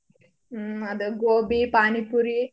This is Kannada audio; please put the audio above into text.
ಹ್ಮ್ ಅದು ಗೋಬಿ ಪಾನಿಪುರಿ.